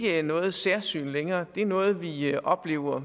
er noget særsyn længere det er noget vi oplever